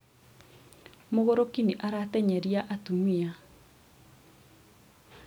mũgũrũki nĩ arateng'erĩa atumia